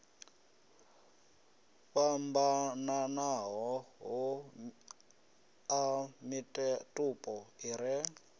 fhambananaho a mitupo i re